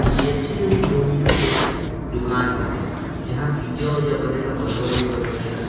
KFC. और Domino के दुकान बाटे जहाँ पिज़्ज़ा उज़्ज़ा बनेला बर्गर उरगर बनेला।